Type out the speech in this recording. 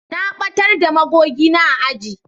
Na batar da magogi na a aji